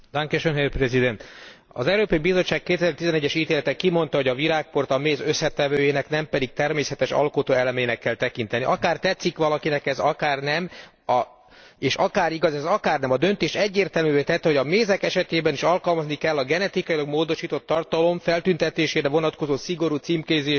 Az Európai Bizottság 2011 es ítélete kimondta, hogy a virágport a méz összetevőjének, nem pedig természetes alkotóelemének kell tekinteni, akár tetszik valakinek ez, akár nem, és akár igaz ez, akár nem, a döntés egyértelművé tette, hogy a mézek esetében is alkalmazni kell a genetikailag módosított tartalom feltüntetésére vonatkozó szigorú címkézési követelményeket.